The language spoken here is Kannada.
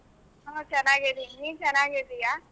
ಹ ಚೆನ್ನಾಗಿದಿನಿ ನೀನ್ ಚೆನ್ನಾಗಿದೀಯಾ?